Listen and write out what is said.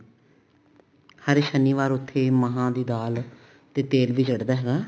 ਹਰ ਸ਼ਨੀਵਾਰ ਉੱਥੇ ਮਹਾਂ ਦੀ ਦਾਲ ਤੇ ਤੇਲ ਵੀ ਚੜਦਾ ਹੈਗਾ